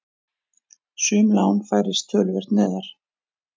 Sum lán færist töluvert neðar.